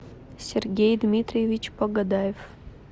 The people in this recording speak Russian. сергей дмитриевич погодаев